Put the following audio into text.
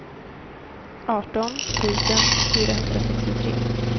arton tusen fyrahundrasextiotre